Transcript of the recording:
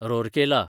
Rourkela